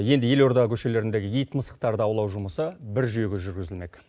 енді елорда көшелеріндегі ит мысықтарды аулау жұмысы бір жүйеге жүргізілмек